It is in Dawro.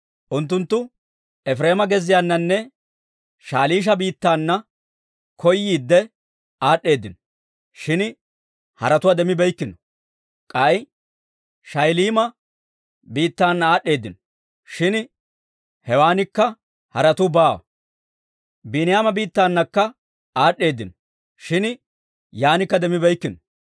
Unttunttu Efireema gezziyaananne Shaliisha biittaana koyiidde aad'd'eedino; shin haretuwaa demmibeykkino. K'ay Shaa'iliima biittana aad'd'eedino; shin hewaanikka haretuu baawa. Biiniyaama biittanakka aad'd'eedino; shin yaanikka demmibeykkino.